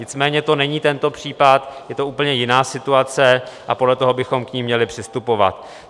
Nicméně to není tento případ, je to úplně jiná situace a podle toho bychom k ní měli přistupovat.